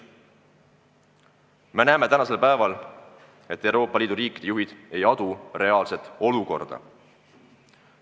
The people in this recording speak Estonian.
Me näeme tänasel päeval, et Euroopa Liidu riikide juhid ei adu reaalset olukorda.